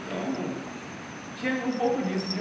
Então, tinha um pouco disso.